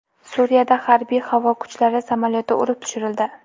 Suriyada harbiy-havo kuchlari samolyoti urib tushirildi.